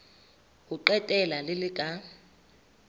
ho qetela le le ka